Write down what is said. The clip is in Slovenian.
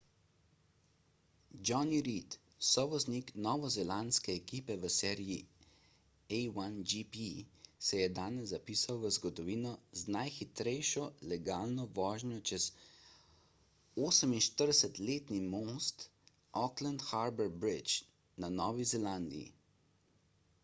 jonny reid sovoznik novozelandske ekipe v seriji a1gp se je danes zapisal v zgodovino z najhitrejšo legalno vožnjo čez 48-letni most auckland harbour bridge na novi zelandiji